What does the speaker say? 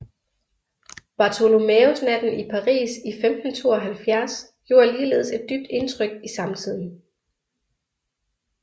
Bartholomæusnatten i Paris i 1572 gjorde ligeledes et dybt indtryk i samtiden